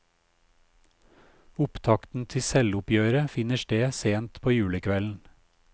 Opptakten til selvoppgjøret finner sted sent på julekvelden.